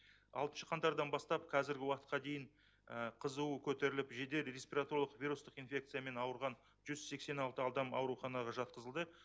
алтыншы қаңтардан бастап қазіргі уақытқа дейін қызуы көтеріліп жедел респираторлық вирустық инфекциямен ауырған жүз сексен алты адам ауруханаға жатқызылды